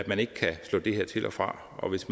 man ikke kan slå det her til og fra og hvis